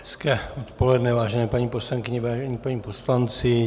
Hezké odpoledne, vážené paní poslankyně, vážení páni poslanci.